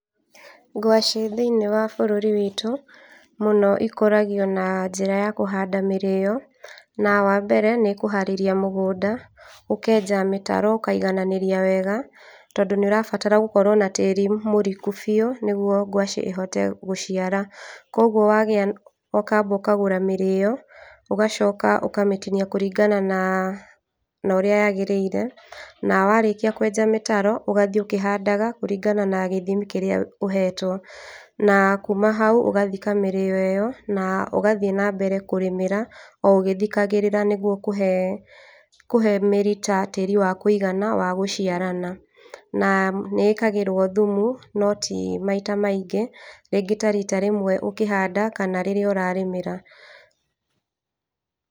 Ngwacĩ thĩiniĩ wa bũrũri witũ, mũno ikũragio na njĩra ya kũhanda mĩrĩyo, na wa mbere nĩ kũharĩria mũgũnda ũkenja mĩtaro, ũkaiganĩria wega, tondũ nĩ ũrabatara gũkorwo na tĩri mũriku biũ nĩguo gwacĩ ĩhote gũciara, koguo wagĩa, ũkamba ũkagũra mĩrĩyo, ũgacoka ũkamĩtinia kũringana na, na ũrĩa yagĩrĩire, na warĩkia kwenja mĩtaro ũgathiĩ ũkĩhandaga kũringana na gĩthimi kĩrĩa ũhetwo, na kuma hau ũgathika mĩrĩyo ĩyo na ũgathiĩ na mbere kũrĩmĩra, o ũgĩthikagĩrĩra nĩguo kũhe kũhe mĩrita tĩri wa kwĩigana wa gũciarana, na nĩ ĩkagĩrwo thumu no timaita maingĩ, rĩngĩ tarita rĩmwe ũkĩhanda kana rĩrĩa ũrarĩmĩra.